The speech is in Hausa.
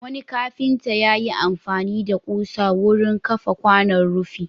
Wani kafinta ya yi amfani da ƙusa wurin kafa kwanan rufi.